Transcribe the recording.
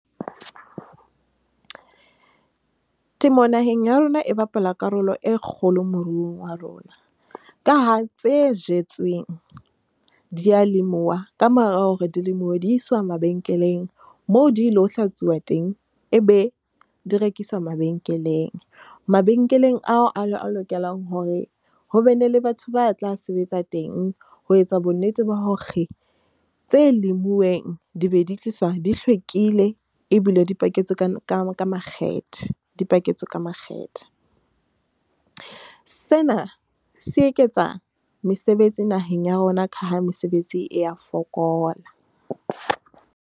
Temo naheng ya rona e bapala karolo e kgolo moruong wa rona. Ka ha tse jetsweng di ya lemuwa kamora hore dilemo di iswa mabenkeleng moo di lo hlatsuwa teng e be di rekiswa mabenkeleng. Mabenkeleng ao a lokelang hore hobene le batho ba tla sebetsa teng ho etsa bonnete ba hore tse lemuweng di be di tliswa di hlwekile ebile di paketswe ka makgethe di paketswe ka makgethe. Sena se eketsa mesebetsi naheng ya rona ka ha mesebetsi e ya fokola.